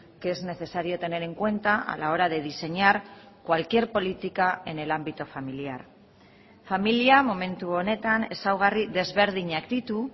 que es necesario tener en cuenta a la hora de diseñar cualquier política en el ámbito familiar familia momentu honetan ezaugarri desberdinak ditu